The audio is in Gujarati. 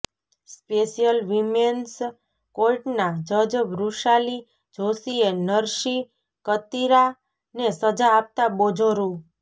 સ્પેશ્યલ વિમેન્સ ર્કોટનાં જજ વૃષાલી જોશીએ નરસી કતીરાને સજા આપતાં બીજો રૂ